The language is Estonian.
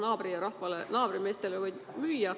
Nojah, võib naabrirahvale või naabrimeestele müüa.